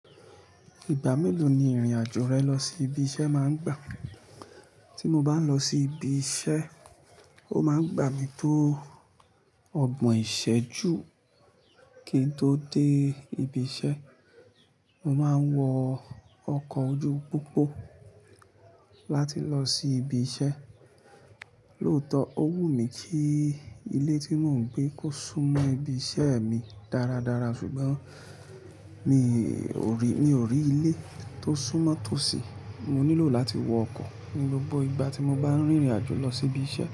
Ìgbà mélòó ni ìrìn àjò rẹ lọ sí ibi iṣẹ́ máa ń gbà? Tí mo bá ń lọ sí ibi iṣẹ́, ó máa ń gbà mí tó ọgbọ̀n ìṣẹ́jú kí n tó dé ibi iṣẹ́. Mo máa ń wọ ọkọ̀ ojú pópó láti lọ sí ibi iṣẹ́. Lóòótọ́, ó wù mí kí ilé tí mò ń gbé kó súnmọ́ ibi iṣẹ́ mi dáradára ṣùgbọ́n mi ò rí, mi ò rí ilé tó súnmọ́ tòsí. Mo nílò láti wọ ọkọ̀ ní gbogbo ìgbà tí mo bá ń rìnrìn àjò lọ sí ibi iṣẹ́.